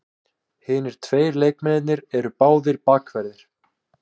Hinir tveir leikmennirnir eru báðir bakverðir